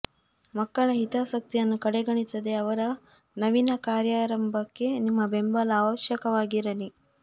ಮಕ್ಕಳ ಹಿತಾಸಕ್ತಿಯನ್ನು ಕಡೆಗಣಿಸದೇ ಅವರ ನವೀನ ಕಾರ್ಯಾರಂಭಕ್ಕೆ ನಿಮ್ಮ ಬೆಂಬಲ ಅವಶ್ಯಕವಾಗಿ ಇರಲಿ